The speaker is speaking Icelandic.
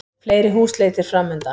Fleiri húsleitir framundan